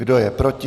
Kdo je proti?